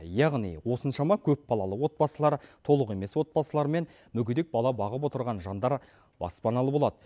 яғни осыншама көпбалалы отбасылар толық емес отбасылар мен мүгедек бала бағып отырған жандар баспаналы болады